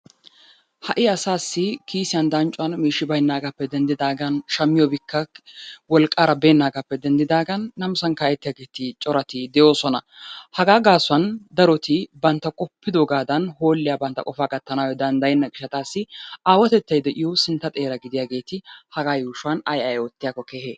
Ha'i asaassi kisiyan danccuwan miishshi baynaagaappe denddidaagan shammiyobikka wolqqaara beennaagaappe denddidaagan namisan ka'ettiyaageeti corati de'oosona. Hagaa gaasuwan daroti bantta qoppiddoogaadan hoolliya bantta qofaa gattanayo danddayenna gishshaassi aawatettay de'iyo sintta xeera gidiyaageeti hagaa yuushuwan ayi ayi oottiyakko kehe?